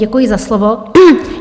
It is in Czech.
Děkuji za slovo.